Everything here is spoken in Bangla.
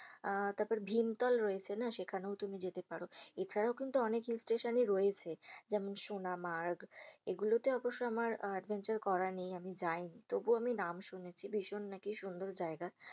আহ তারপর ভীম তল রয়েছে না সেখানেও তুমি যেতে পার এছাড়াও কিন্তু অনেক hill স্টেশন রযেছে যেমন সুনামার্গ এগুলোতে অবশ্য আমার adventure করা নেই। আমি যায় নি তবুও আমি নাম শুনেছি ভীষন নাকি সুন্দর জায়গা,